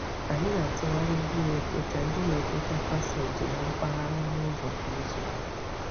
Anyị na-atụgharị ndị na-ekpocha ndị na-ekpocha paseeji na mpaghara ọnụụzọ kwa izu.